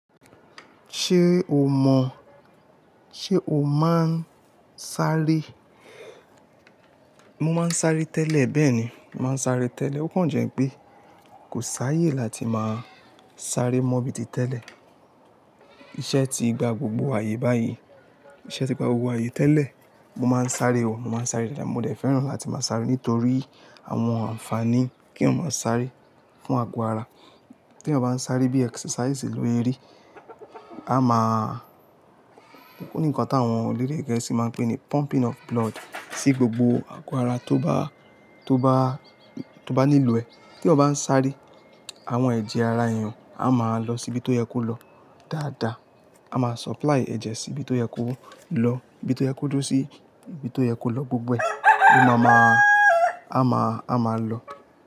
Ṣé o mọ̀? Ṣé o máa ń sáré? Mo máa ń sáré tẹ́lẹ̀ bẹ́ẹ̀ni, mo máa ń sáré tẹ́lẹ̀. Ó kan jẹ́ pé kò sáayé láti máa sáré mo bíi ti tẹ́lẹ̀. Iṣẹ́ ti gba gbogbo ààyè báyìí, iṣẹ́ ti gba gbogbo ààyè tẹ́lẹ̀. Mo máa ń sáré o, mo máa ń sáré dáadáa. Mo dẹ̀ fẹ́ràn láti máa sáré nítorí àwọn ànfààní kíyàn máa sáré fún ago ara. Tèèyàn bá ń sáré bí i exercise ló ẹ rí a máa, ó ní ǹkan táwọn elédè gẹ̀ẹ́sì máa ń pè ní pumping of blood sí gbogbo ago ara tó bá, tó bá, tó bá nílò ẹ téèyàn bá ń sáré, àwọn ẹ̀jẹ̀ ara èèyàn a máa lọ síbi tó yẹ kó lọ dáadáa. A máa supply ẹ̀jẹ̀ síbi tó yẹ kó lọ, ibi tó yẹ kó dúró sí ibi tó yẹ kó lọ gbogbo ẹ̀. Ló má máa, a máa, a máa lọ.